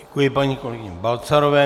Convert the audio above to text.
Děkuji paní kolegyni Balcarové.